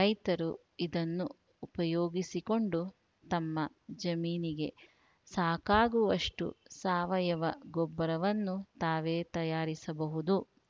ರೈತರು ಇದನ್ನು ಉಪಯೋಗಿಸಿಕೊಂಡು ತಮ್ಮ ಜಮೀನಿಗೆ ಸಾಕಾಗುವಷ್ಟುಸಾವಯವ ಗೊಬ್ಬರವನ್ನು ತಾವೇ ತಯಾರಿಸಬಹುದು